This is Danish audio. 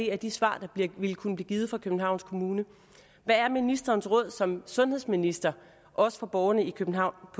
er de svar der ville kunne blive givet fra københavns kommune hvad er ministerens råd som sundhedsminister også for borgerne i københavn